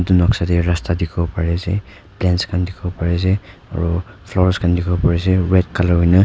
etu noksa de rasta dikivo pari ase plants kan dikivo pari ase aro flowers kan dikivo pari ase red color hoina.